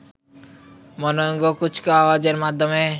মনোজ্ঞ কুচকাওয়াজের মাধ্যমে